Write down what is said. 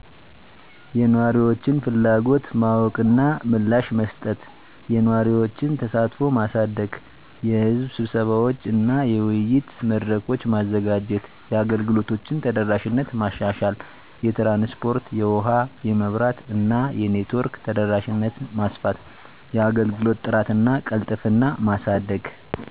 *የነዋሪዎችን ፍላጎት ማወቅ እና ምላሽ መስጠት፦ *የነዋሪዎችን ተሳትፎ ማሳደግ * የሕዝብ ስብሰባዎች እና የውይይት መድረኮች: ማዘጋጀት። * የአገልግሎቶችን ተደራሽነት ማሻሻል * የትራንስፖርት *የውሀ *የመብራት እና የኔትወርክ ተደራሽነትን ማስፋት፤ * የአገልግሎት ጥራት እና ቅልጥፍና ማሳደግ